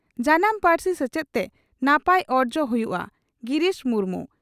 ᱡᱟᱱᱟᱢ ᱯᱟᱹᱨᱥᱤ ᱥᱮᱪᱮᱫ ᱛᱮ ᱱᱟᱯᱟᱭ ᱚᱨᱡᱚ ᱦᱩᱭᱩᱜᱼᱟ ᱺ ᱜᱤᱨᱤᱥ ᱢᱩᱨᱢᱩ